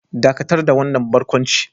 Dakatar da wannan barkwanci